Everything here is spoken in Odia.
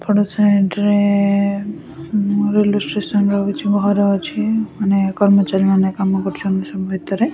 ଫଡ ସାଇଡ ରେ ଉଁ ରେଲୱେ ଷ୍ଟେସନ ର କିଛି ଘର ଅଛି ମାନେ କର୍ମଚାରି ମାନେ କାମ କରୁଛନ୍ତି ସବୁ ଭିତରେ।